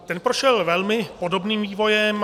Ten prošel velmi podobným vývojem.